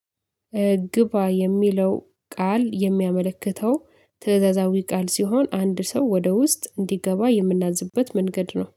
ግባ የሚለው ቃል የሚያመለክተው ትእዛዛዊ ቃል ሲሆን አንድ ሰው ወደ ውስጥ እንዲገባነውምናዝበት መንገድ ነው።